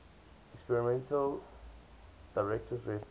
experimental directives rested